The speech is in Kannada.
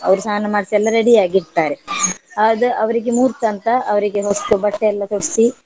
ಅವ್ರು ಸ್ನಾನ ಮಾಡ್ಸಿ ಎಲ್ಲ ready ಯಾಗಿರ್ತ್ತಾರೆ ಆದ್ ಅವ್ರಿಗೆ ಮುಹೂರ್ತ ಅಂತ ಅವ್ರಿಗೆ ಹೊಸ್ತು ಬಟ್ಟೆ ಎಲ್ಲ ತೊಡ್ಸಿ.